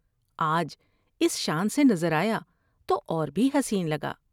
آج اس شان سے نظر آیا تو اور بھی حسین لگا ۔